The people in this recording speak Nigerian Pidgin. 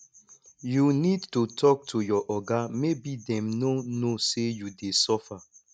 you need to talk to your oga maybe dem no know say you dey suffer